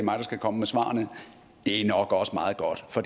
mig der skal komme med svarene det er nok også meget godt for